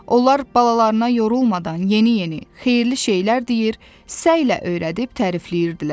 Onlar balalarına yorulmadan yeni-yeni, xeyirli şeylər deyir, həvəslə öyrədib tərifləyirdilər.